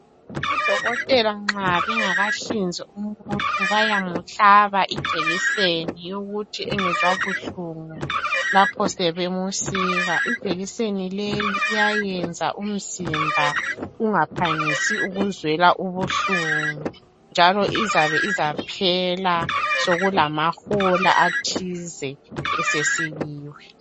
Odokotela nxa bengakahlinzi umuntu bayamuhlaba ijekiseni yokuthi engezwa buhlungu lapha sebemusika. Ijekiseni leyi iyayenza umzimba ungaphangisi ukuzwela ubuhlungu, njalo izabe izaphela sekulamahola athize esesikiwe.